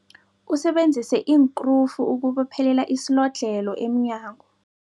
Usebenzise iinkrufu ukubophelela isilodlhelo emnyango.